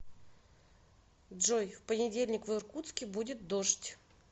джой в понедельник в иркутске будет дождь